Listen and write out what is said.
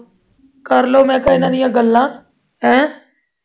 ਕਰ ਲਓ ਮੈਂ ਕਿਹਾ ਇਨ੍ਹਾਂ ਦੀਆਂ ਗੱਲਾਂ ਹੈਂ